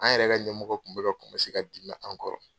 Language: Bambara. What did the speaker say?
An yɛrɛ ka ɲɛmɔgɔ kun bɛ ka ka dimi an kɔrɔ.